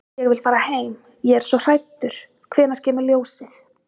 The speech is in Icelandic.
Ég vil fara heim. ég er svo hræddur. hvenær kemur ljósið?